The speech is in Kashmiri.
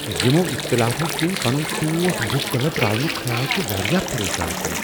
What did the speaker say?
یمۄ اختلافو کِنہِ پنٗن ٹوٹھ بٗك كلب راونٗك خیال چھٗ ورِیاہ پریشان كٗن ۔